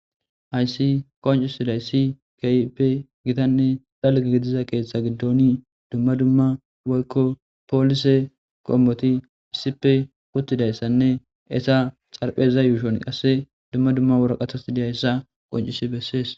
haysi qoncisiday si kyipe gitanne xalga gidiza keeththa giddoni dumma dumma woykko poolise qommoti phisife kuttidayssanne esa xarpheza yuushon qasse dumma dumma wora qathas deyayssa qoncisi bessees